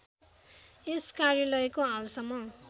यस कार्यालयको हालसम्म